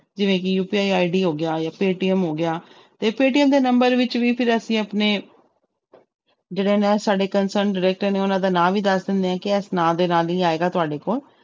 ਜਿਵੇਂ ਕਿ UPI ID ਹੋ ਗਿਆ ਜਾਂ ਪੇਅਟੀਐਮ ਹੋ ਗਿਆ ਤੇ ਪੇਅਟੀਐਮ ਦੇ number ਵਿੱਚ ਵੀ ਫਿਰ ਅਸੀਂ ਆਪਣੇ ਜਿਹੜੇ ਨੇ ਸਾਡੇ concern director ਨੇ ਉਹਨਾਂ ਦਾ ਨਾਂ ਵੀ ਦੱਸ ਦਿੰਦੇ ਹਾਂ ਕਿ ਇਸ ਨਾਂ ਦੇ ਨਾਲ ਹੀ ਆਏਗਾ ਤੁਹਾਡੇ ਕੋਲ।